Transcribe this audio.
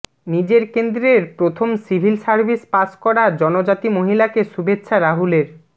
নিজের কেন্দ্রের প্রথম সিভিল সার্ভিস পাশ করা জনজাতি মহিলাকে শুভেচ্ছা রাহুলের